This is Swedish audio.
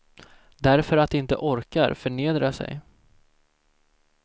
Därför att de inte orkar förnedra sig.